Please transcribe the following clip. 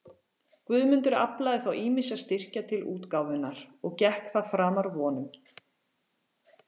Guðmundur aflaði þá ýmissa styrkja til útgáfunnar, og gekk það framar vonum.